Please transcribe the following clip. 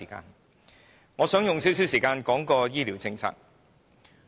所以，我想花一點時間說醫療政策。